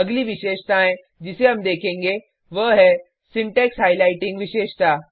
अगली विशेषताएँ जिसे हम देखेंगे वह है सिंटेक्स हाइलाइटिंग विशेषता